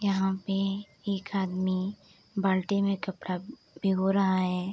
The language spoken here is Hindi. यहाँ पे एक आदमी बाल्टी में कपड़ा भिगो रहा है।